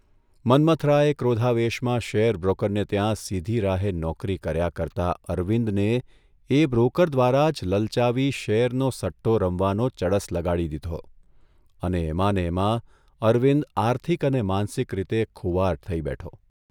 મન્મથરાયે ક્રોધાવેશમાં શેરબ્રોકરને ત્યાં સીધી રાહે નોકરી કર્યા કરતા અરવિંદને એ બ્રોકર દ્વારા જ લલચાવી શેરનો સટ્ટો રમવાનો ચડસ લગાડી દીધો અને એમાંને એમાં અરવિંદ આર્થિક અને માનસિક રીતે ખુવાર થઇ બેઠો.